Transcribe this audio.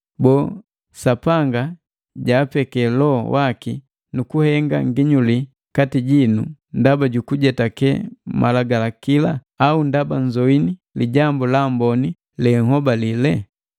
Boo, Sapanga jaapeke Loho waki nukuhenga nginyuli kati jinu ndaba jukujetake Malagalakila, au ndaba nzoini Lijambu la Amboni lenhobalela?